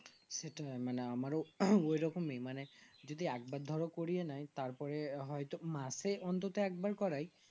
সেটাই আমার ওই রকমই মানে যদি এক বার ধরো করিয়ে নেই তারপরে হয় তো মাসে অন্তত এক বার করাই